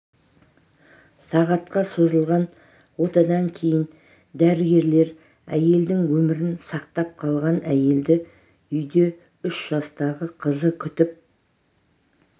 сағатқа созылған отадан кейін дәрігерлер әйелдің өмірін сақтап қалған әйелді үйде үш жастағы қызы күтіп